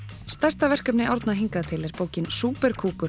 stærsta verkefni Árna hingað til er bókin